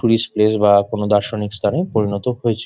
Tourist place বা কোনো দার্শনিক স্থান এ পরিণত হয়েছে।